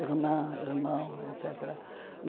Irmã, irmão, et cétera.